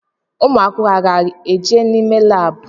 Ụmụ akwụkwọ a ga eje ime laabu?